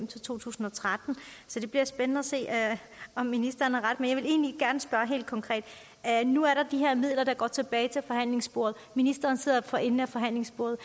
til to tusind og tretten så det bliver spændende at se om ministeren får ret men jeg vil egentlig spørge helt konkret nu er der de her midler der går tilbage til forhandlingsbordet og ministeren sidder for enden af forhandlingsbordet